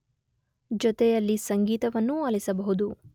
ಜೊತೆಯಲ್ಲಿ ಸಂಗೀತವನ್ನೂ ಆಲಿಸಬಹುದು